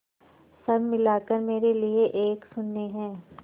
सब मिलाकर मेरे लिए एक शून्य है